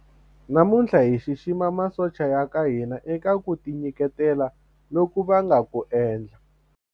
Namuntlha hi xixima masocha ya ka hina eka ku tinyiketela loku va nga ku endla.